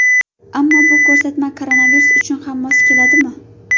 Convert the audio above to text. Ammo bu ko‘rsatma koronavirus uchun ham mos keladimi?